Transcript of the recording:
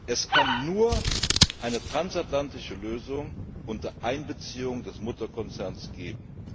Es kann nur eine transatlantische Lösung unter Einbeziehung des Mutterkonzerns geben.